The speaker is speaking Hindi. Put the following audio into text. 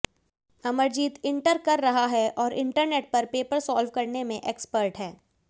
अमरजीत इंटर कर रहा है और इंटरनेट पर पेपर साल्व करने में एक्सपर्ट है